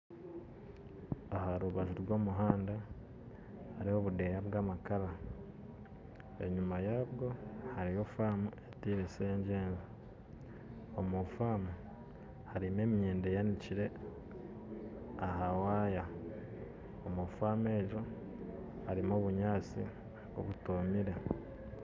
Aha rubaju rw'omuhanda hariho obundeeya bw'amakara, enyima yabwo hariyo faamu ezitiirire na sengyengye, omu faamu hariho emyenda eyanikire aha waaya kandi omu omu faamu egyo harimu obunyatsi obutomire